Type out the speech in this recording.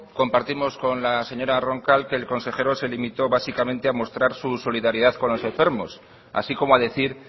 compartimos con la señora roncal que el consejero se limitó básicamente a mostrar su solidaridad con los enfermos así como a decir